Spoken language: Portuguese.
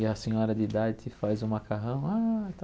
E a senhora de idade te faz o macarrão. Ah